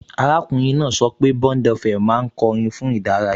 Arákùnrin náà sọ pé BondFM máa ń kọ orin fún ìdárayá